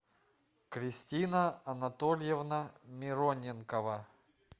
кристина анатольевна мироненкова